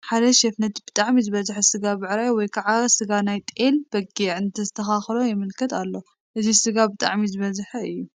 ሓደ ሼፍ ነቲ ብጣዕሚ ዝሰበሐ ስጋ ብዕራይ ወይ ከዓ ስጋ ናይ ጤል/ በጊዕ እንተስተኻኽሎ የመልክት ኣሎ፡፡ እዚ ስጋ ብጣዕሚ ዝሰበሐ እዩ፡፡